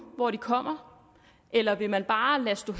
hvor den kommer eller vil man bare lade stå